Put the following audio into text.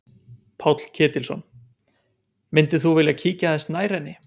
Páll Ketilsson: Myndir þú vilja kíkja aðeins nær henni?